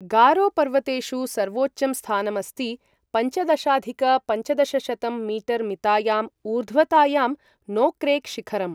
गारो पर्वतेषु सर्वोच्चं स्थानम् अस्ति, पञ्चदशाधिक पञ्चदशशतं मीटर् मितायाम् ऊर्ध्वतायां, नोक्रेक् शिखरम्।